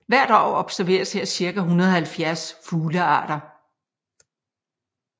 Hvert år observeres her cirka 170 fuglearter